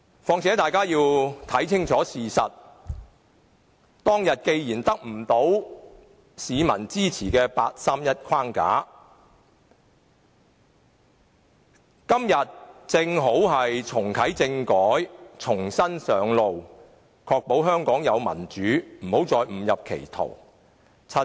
況且大家要看清楚事實，當天八三一框架既得不到市民支持，今天正好重啟政改，重新上路，確保香港能建立民主，不要再誤入歧途。